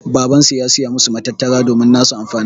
Baban su ya Siya masu matattara domin nasu amfanin.